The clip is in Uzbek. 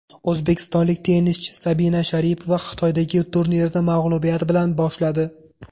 O‘zbekistonlik tennischi Sabina Sharipova Xitoydagi turnirni mag‘lubiyat bilan boshladi.